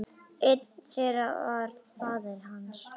Einn þeirra var faðir hans.